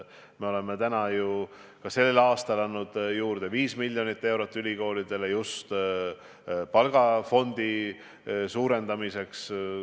Me oleme ka sellel aastal andnud ülikoolidele juurde 5 miljonit eurot palgafondi suurendamiseks.